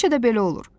Həmişə də belə olur.